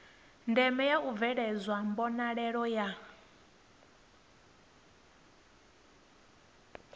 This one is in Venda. ndeme u bveledzwa mbonalelo ya